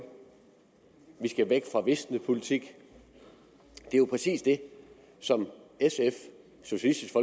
vi skal væk fra visnepolitik det er jo præcis det som sf socialistisk